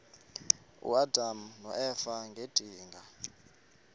uadam noeva ngedinga